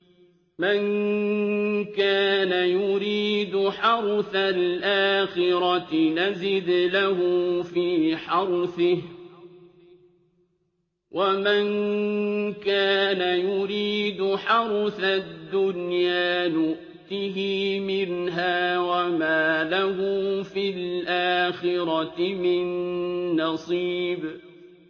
مَن كَانَ يُرِيدُ حَرْثَ الْآخِرَةِ نَزِدْ لَهُ فِي حَرْثِهِ ۖ وَمَن كَانَ يُرِيدُ حَرْثَ الدُّنْيَا نُؤْتِهِ مِنْهَا وَمَا لَهُ فِي الْآخِرَةِ مِن نَّصِيبٍ